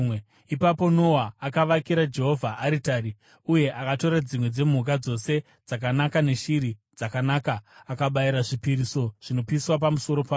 Ipapo Noa akavakira Jehovha aritari, uye akatora dzimwe dzemhuka dzose dzakanaka neshiri dzakanaka, akabayira zvipiriso zvinopiswa pamusoro payo.